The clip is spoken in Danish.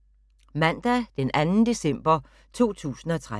Mandag d. 2. december 2013